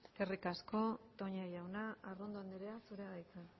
eskerrik asko toña jauna arrondo andrea zurea da hitza